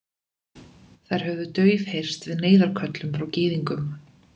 Þær höfðu daufheyrst við neyðarköllum frá Gyðingum.